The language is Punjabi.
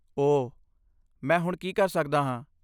ਓਹ! ਮੈਂ ਹੁਣ ਕੀ ਕਰ ਸਕਦਾ ਹਾਂ?